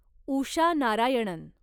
Usha Narayanan